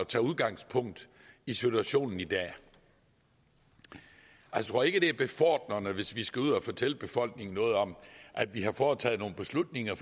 tage udgangspunkt i situationen i dag jeg tror ikke det er befordrende hvis vi skal ud og fortælle befolkningen noget om at vi har foretaget nogle beslutninger